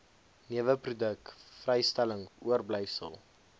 neweproduk vrystelling oorblyfsel